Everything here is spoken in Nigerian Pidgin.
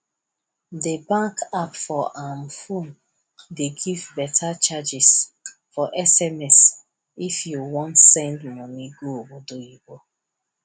di bank app for um phone dey give beta charges for sms if you wan send money go obodoyibo